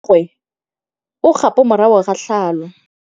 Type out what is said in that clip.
Mmagwe o kgapô morago ga tlhalô.